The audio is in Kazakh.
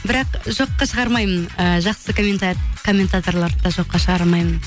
бірақ жоққа шығармаймын ыыы жақсы комментаторларды да жоққа шығара алмаймын